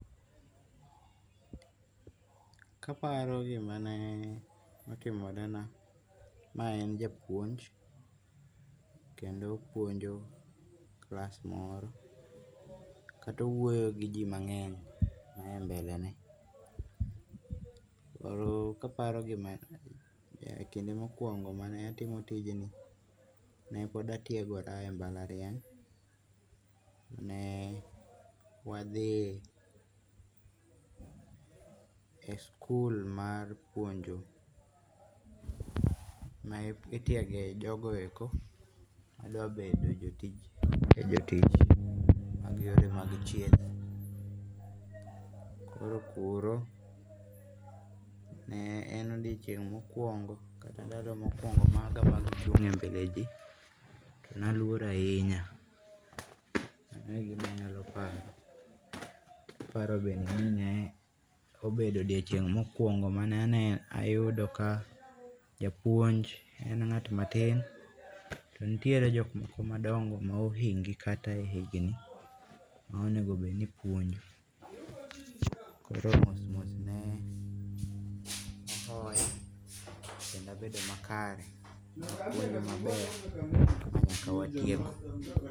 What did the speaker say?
Kaparo gimane otimorena mae en japuonj opuonj kendo opuonjo class moro kata owuoyo gi ji mange'ny mae mbelene koro kinde mokuongo' kane atimo tijni ne pod atiegora e mbalariany ne wathie e school mar pwonjo mae itiege jogoeko ma dwabede jotij koro kuro ne en odioching' mokwongo kaka ndalo mokwongo mag chunge' mbele ji naluor ahinya magie gik ma anyalo paro, kaparo bende ni ne en japuonj en ngat matin to bende nitere jok moko madongo ma ohingi kata e higni monegobed ni ipwonjo koro mos mos ne kendo abedo makare wuoyi makare ma nyaka watieko.